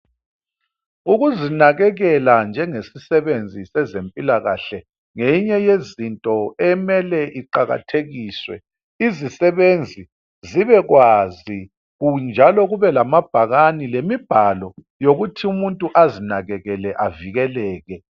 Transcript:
Ukuzinakekela njengesisebenzi sezempilakahle ngeyinye yezinto emele iqakathekiswe, izisebenzi zibe kwazi njalo kube lamabhakani lemibhalo yokuthi umuntu azinakekele avikeleke.